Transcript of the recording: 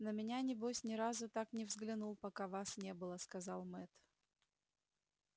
на меня небось ни разу так не взглянул пока вас не было сказал мэтт